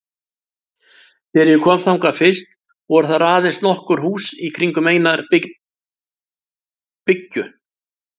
Þegar ég kom þangað fyrst voru þar aðeins nokkur hús í kringum eina byggju.